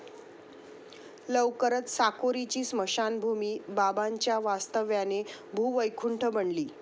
लवकरच साकोरीची स्मशानभूमी बाबांच्या वास्तव्याने भूवैकुंठ बनली.